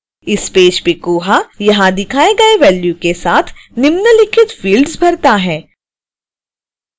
इस पेज पर koha यहां दिखाए गए वेल्यू के साथ निम्नलिखित fields भरता है